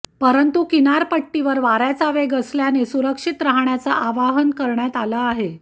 परंतू किनारपट्टीवर वार्याचा वेग असल्याने सुरक्षित राहण्याचं आवाहन करण्यात आलं आहे